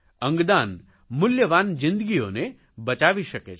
અંગદાન મૂલ્યવાન જિંદગીઓને બચાવી શકે છે